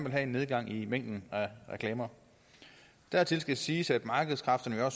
have en nedgang i mængden af reklamer dertil skal siges at markedskræfterne jo